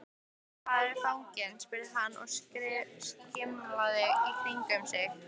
Hvar er fanginn? spurði hann og skimaði í kringum sig.